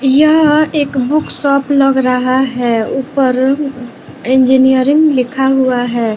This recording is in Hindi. यह एक बुक शॉप लग रहा है ऊपर इंजीनियरिंग लिखा हुआ है।